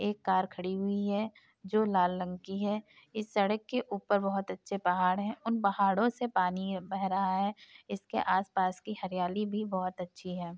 एक कार खड़ी हुई है जो लाल रंग की है। इस सड़क के ऊपर बहोत अच्छे पहाड़ है। उन पहाड़ों से पानी बह रहा है इसके आस-पास की हरियाली भी बहोत अच्छी है।